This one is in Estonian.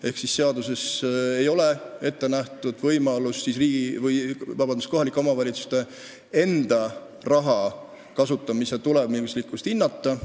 Ehk seaduses ei ole ette nähtud võimalust kohalike omavalitsuste raha kasutamise tulemuslikkust hinnata.